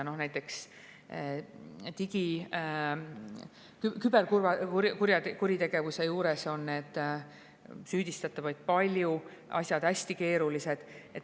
Näiteks digi-, küberkuritegevuse puhul on süüdistatavaid palju, asjad hästi keerulised.